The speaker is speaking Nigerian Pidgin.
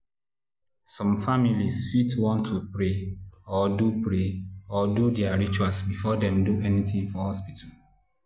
some families fit want to pray or do pray or do their rituals before dem do anything for hospital.